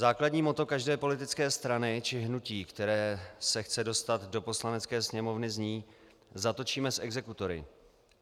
Základní motto každé politické strany či hnutí, které se chce dostat do Poslanecké sněmovny, zní "zatočíme s exekutory".